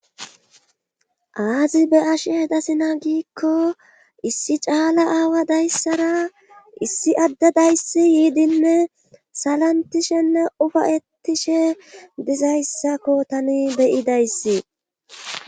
Aazi be ashe eda sina giikko issi caala aawa dayssara issi adde dayssi yiidinne salantishenne ufayetishe dizayssakko tani beyidayssi